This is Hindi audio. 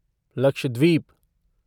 लक्षद्वीप